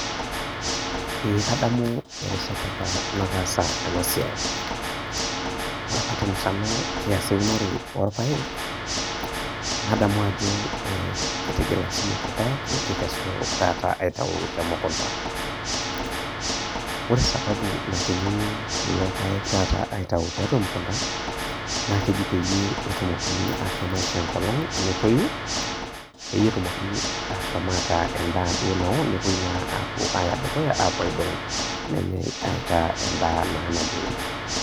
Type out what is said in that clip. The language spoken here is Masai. Ee kadamu erishata apa nataasa enasiai ,ore apa temusano kiasi eunoto orpaek, nadamu ajo kitigila siyiok irpaek nikikesu temukunda ,ore sababu nakinyunyi kulo paek aitau tiatua emukunda naa keji peyie etumokini ashom aishoo enkolong netoi peyieetumoki ataa endaa nao nepuoi na aya dukuya aidong nenyae aitaa endaa nayieri.